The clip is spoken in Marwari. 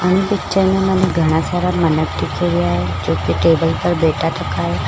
इन पिक्चर में मने घाना सारा मिनख दिखे है जोकि टेबल पर बैठा थका है।